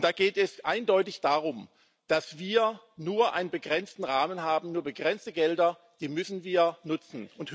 Und da geht es eindeutig darum, dass wir nur einen begrenzten Rahmen haben, nur begrenzte Gelder, die müssen wir nutzen.